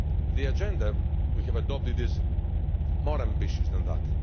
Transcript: The Agenda we have adopted is more ambitious than that.